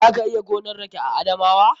Za ka iya gonan rake a Adamawa.